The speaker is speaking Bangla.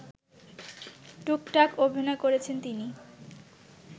টুকটাক অভিনয় করেছেন তিনি